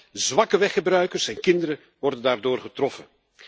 Vooral zwakke weggebruikers en kinderen worden daardoor getroffen.